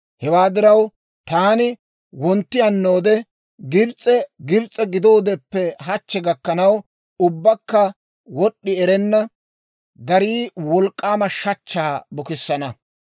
Hewaa diraw, taani wontti hannoode Gibs'e Gibs'e gidoodeppe hachche gakkanaw ubbakka wod'd'i erenna, darii wolk'k'aama shachchaa bukissana.